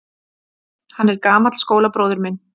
Hann er gamall skólabróðir minn.